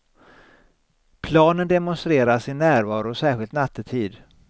Planen demonstrerar sin närvaro särskilt nattetid.